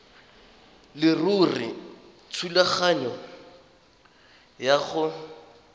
leruri thulaganyo ya go